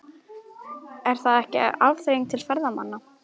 Er það ekki afþreying til ferðamanna?